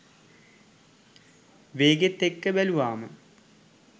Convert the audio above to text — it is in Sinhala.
වේගෙත් එක්ක බැලුවාම